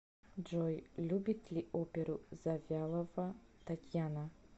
джой любит ли оперу завьялова татьяна